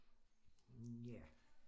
Mh ja